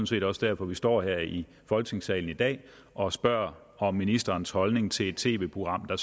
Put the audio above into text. set også derfor vi står her i folketingssalen i dag og spørger om ministerens holdning til et tv program der